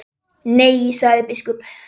Nei, sagði biskup.